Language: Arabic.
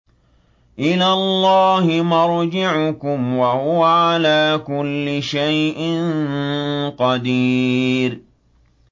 إِلَى اللَّهِ مَرْجِعُكُمْ ۖ وَهُوَ عَلَىٰ كُلِّ شَيْءٍ قَدِيرٌ